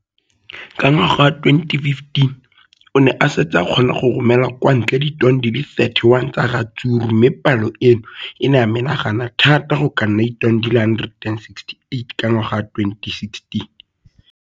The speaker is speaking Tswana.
Ka ngwaga wa 2015, o ne a setse a kgona go romela kwa ntle ditone di le 31 tsa ratsuru mme palo eno e ne ya menagana thata go ka nna ditone di le 168 ka ngwaga wa 2016.